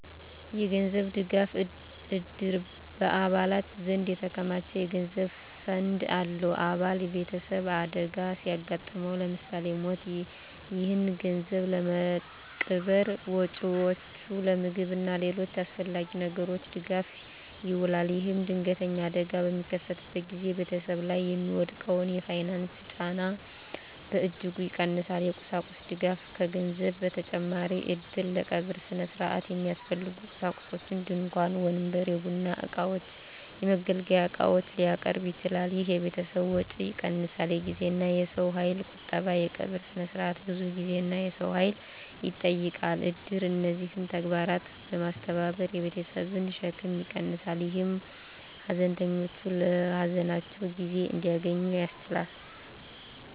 የገንዘብ ድጋፍ: እድር በአባላት ዘንድ የተከማቸ የገንዘብ ፈንድ አለው። አባል ቤተሰብ አደጋ ሲያጋጥመው (ለምሳሌ ሞት)፣ ይህ ገንዘብ ለቀብር ወጪዎች፣ ለምግብ እና ለሌሎች አስፈላጊ ነገሮች ድጋፍ ይውላል። ይህም ድንገተኛ አደጋ በሚከሰትበት ጊዜ ቤተሰብ ላይ የሚወድቀውን የፋይናንስ ጫና በእጅጉ ይቀንሳል። የቁሳቁስ ድጋፍ: ከገንዘብ በተጨማሪ እድር ለቀብር ሥነ ሥርዓት የሚያስፈልጉ ቁሳቁሶችን (ድንኳን፣ ወንበር፣ የቡና እቃዎች፣ የመገልገያ ዕቃዎች) ሊያቀርብ ይችላል። ይህ የቤተሰብን ወጪ ይቀንሳል። የጊዜና የሰው ኃይል ቁጠባ: የቀብር ሥነ ሥርዓት ብዙ ጊዜና የሰው ኃይል ይጠይቃል። እድር እነዚህን ተግባራት በማስተባበር የቤተሰብን ሸክም ይቀንሳል፣ ይህም ሀዘንተኞች ለሀዘናቸው ጊዜ እንዲያገኙ ያስችላል።